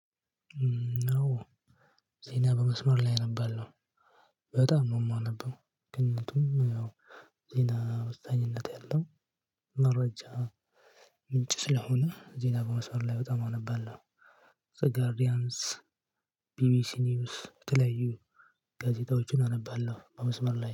ነው ዜና በመስመር ላይ አነባለሁ። በጣም ነው የማነበው። ግን ዜና ወሳኝነት ያለው መረጃ። ምንጭ ስለሆነ ዜና በመስመር ላይ በጣም አነባለሁ። ዘ ጋርዲያንስ። ቢቢሲ የተለያዩ ጋዜጣዎችን አነባለሁ በመስመር ላይ